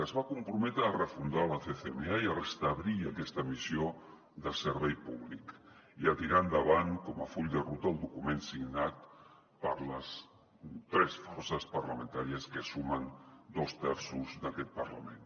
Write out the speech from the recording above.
es va comprometre a refundar la ccma i a restablir aquesta missió de servei públic i a tirar endavant com a full de ruta el document signat per les tres forces parlamentàries que sumen dos terços d’aquest parlament